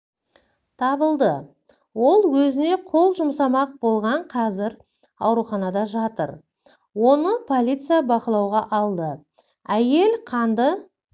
табылды ол өзіне қол жұмсамақ болған қазір ауруханада жатыр оны полиция бақылауға алды әйел қанды